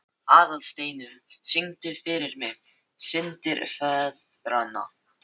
Aðalsteinunn, syngdu fyrir mig „Syndir feðranna“.